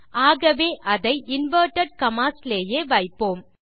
ஆகவே அதை inverted commas விலேயே வைப்போம்